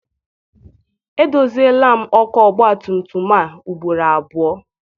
Edoziela m ọkụ ọgbatumtum a ugboro abụọ.